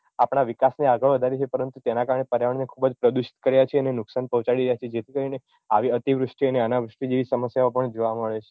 આપણા વિકાસ ને આગળ વધારી એ છીએ પરંતુ તેના કારણે પર્યાવરણ ને ખુબ જ પ્રદુષિત કર્યા છીએ અને નુકશાન પોહચાડી રહ્યાં છીએ જેથી કરીને આવી અતિવૃષ્ટિ અને અનાવૃષ્ટિ જેવી સમસ્યાઓ પણ જોવાં મળે છે